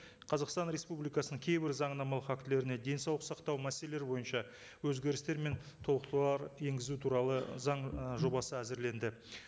қазақстан республикасының кейбір заңнамалық актілеріне денсаулық сақтау мәселелері бойынша өзгерістер мен толықтырулар енгізу туралы заң ы жобасы әзірленді